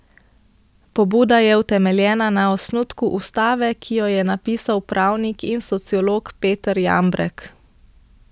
Pobuda je utemeljena na osnutku ustave, ki jo je napisal pravnik in sociolog Peter Jambrek.